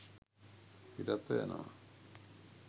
පිටත්ව යනවා